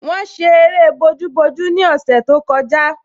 Wọ́n ṣe eré bojúbojú ní ọ̀sẹ̀ tó kọjá